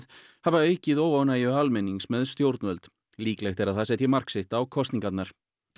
hafa aukið óánægju almennings með stjórnvöld líklegt er að það setji mark sitt á kosningarnar